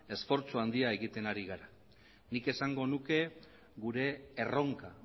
esfortzu handia egiten ari gara nik esango nuke gure erronka